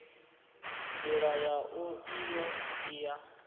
ndila yau iyo i ya